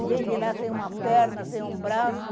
E vem de lá sem uma perna, sem um braço.